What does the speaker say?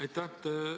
Aitäh!